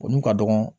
O n'u ka dɔgɔ